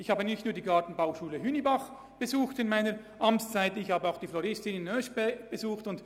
Ich habe während meiner Amtszeit nicht nur die Gartenbauschule Hünibach besucht, sondern auch die Floristinnenklasse in Oeschberg.